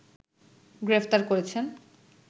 গ্রেফতার করেছেন